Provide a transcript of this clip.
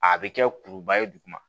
A bɛ kɛ kuruba ye duguma